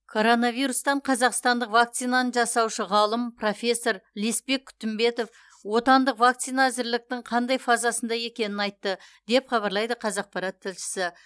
коронавирустан қазақстандық вакцинаны жасаушы ғалым профессор леспек күтімбетов отандық вакцина әзірліктің қандай фазасында екенін айтты деп хабарлайды қазақпарат тілшісі